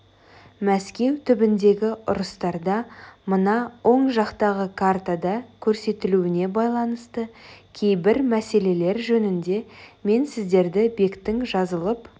мәскеу түбіндегі ұрыстарда мына оң жақтағы картада көрсетілуіне байланысты кейбір мәселелер жөнінде мен сіздерді бектің жазылып